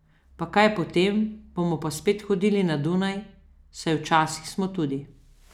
Pa kaj potem, bomo pa spet hodili na Dunaj, saj včasih smo tudi.